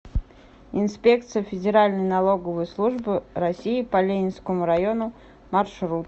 инспекция федеральной налоговой службы россии по ленинскому району маршрут